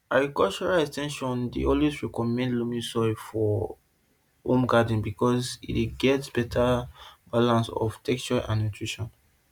agricultural ex ten sion dey always recommend loamy soil for home garden because e get better balance of texture and nutrition